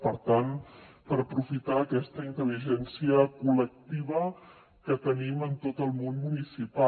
per tant per aprofitar aquesta intel·ligència col·lectiva que tenim en tot el món municipal